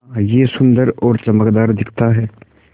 हाँ यह सुन्दर और चमकदार दिखता है